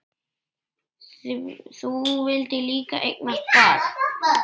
Þú vildir líka eignast barn.